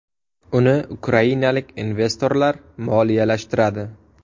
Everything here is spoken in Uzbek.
Uni ukrainalik investorlar moliyalashtiradi.